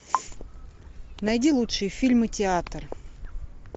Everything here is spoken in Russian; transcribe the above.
найди лучшие фильмы театр